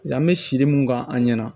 An bɛ siri mun kan an ɲɛna